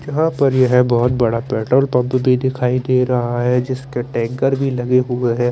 यहा पर ये है बोहोत बड़ा पेट्रोल पंप भी दिखाई दे रहा है जिसके टेंकर भी लगे हुए है ।